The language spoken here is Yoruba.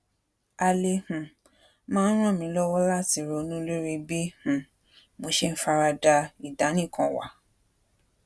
ale um maa n ràn mí lówó láti ronú lórí bí um mo ṣe ń fara da ìdánìkanwà